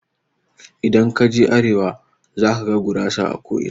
Idan kaje arewa zakaga gurasa a ko'ina.